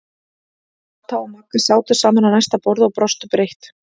Kata og Magga sátu saman á næsta borði og brostu breitt.